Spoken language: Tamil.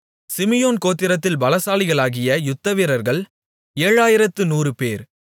சிமியோன் கோத்திரத்தில் பலசாலிகளாகிய யுத்தவீரர்கள் ஏழாயிரத்து நூறுபேர்